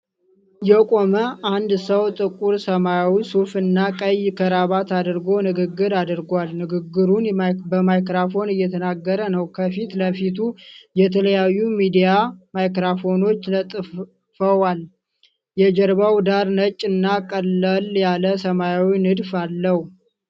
የቆመ አንድ ሰው ጥቁር ሰማያዊ ሱፍ እና ቀይ ክራቫት አድርጎ ንግግር አድርጓል። ንግግሩን በማይክራፎን እየተናገረ ነው። ከፊት ለፊቱ የተለያዩ ሚዲያ ማይክራፎኖች ለጥፈዋል። የጀርባው ዳራ ነጭ እና ቀለል ያለ ሰማያዊ ንድፍ አለው።